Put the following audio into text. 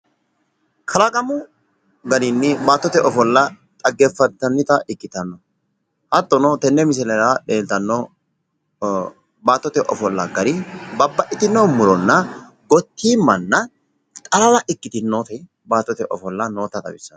Kalaqamu garinni baattote ofolla dhageeffantannita ikkitanna, hattono tenne misilera leeltanno baattote ofolla gari babbaxxitino murona gottiimmanna xalala ikkitinoti baattote ofolla noota xawissanno.